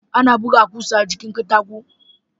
Ana buga kusa a jikin Katako